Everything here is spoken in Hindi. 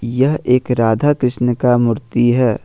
यह एक राधा कृष्ण का मूर्ति है।